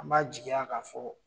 An b'a jigi yan kan fɔ.